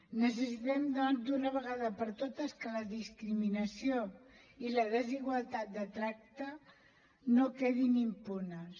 necessitem doncs d’una vegada per totes que la discriminació i la desigualtat de tracte no quedin impunes